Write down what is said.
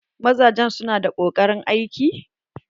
Mazajen su na da koƙarin aiki?